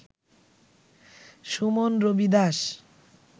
Suman Rabi Das